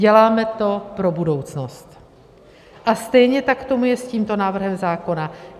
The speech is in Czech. Děláme to pro budoucnost a stejně tak tomu je s tímto návrhem zákona.